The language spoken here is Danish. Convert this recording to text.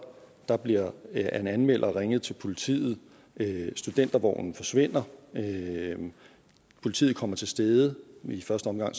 der bliver af en anmelder ringet til politiet studentervognen forsvinder politiet kommer til stede i første omgang